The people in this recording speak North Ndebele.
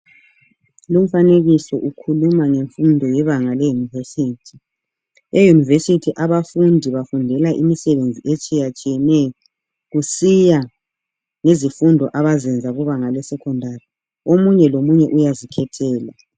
Lumfanekiso ukhuluma ngemfundo yebanga leyunivesithi, eyunivesithi abafundi bafundela imisebenzi etshiyatshiyeneyo kusiya ngezifundo abazenza kubanga le secondary omunye lomunye uyazikhethela.